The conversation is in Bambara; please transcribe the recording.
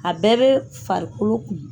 A bɛɛ bɛ farikolo kun.